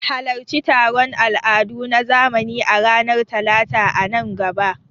Halarci taron al'adu na zamani a ranar Talata a nan gaba.